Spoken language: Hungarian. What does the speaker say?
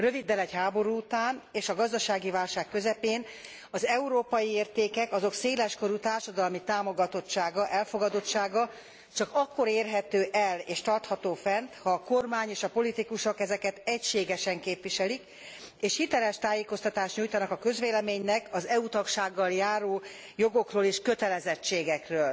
Röviddel egy háború után és a gazdasági válság közepén az európai értékek, azok széleskörű társadalmi támogatottsága, elfogadottsága csak akkor érhető el és tartható fenn, ha a kormány és a politikusok ezeket egységesen képviselik, és hiteles tájékoztatást nyújtanak a közvéleménynek az EU tagsággal járó jogokról és kötelezettségekről.